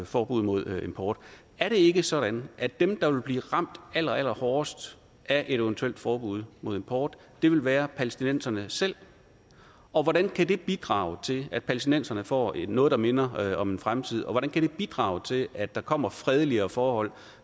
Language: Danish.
forbud mod import er det ikke sådan at dem der vil blive ramt allerallerhårdest af et eventuelt forbud mod import vil være palæstinenserne selv og hvordan kan det bidrage til at palæstinenserne får noget der minder om en fremtid og hvordan kan det bidrage til at der kommer fredeligere forhold